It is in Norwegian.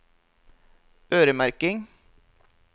øremerking